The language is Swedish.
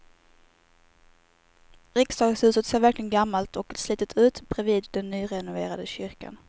Riksdagshuset ser verkligen gammalt och slitet ut bredvid den nyrenoverade kyrkan.